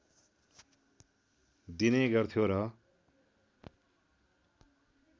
दिने गर्थ्यो र